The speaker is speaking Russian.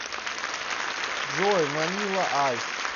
джой ванила айс